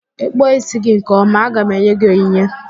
Ị kpụọ ísí gị nke ọma, aga m enye gị onyinye.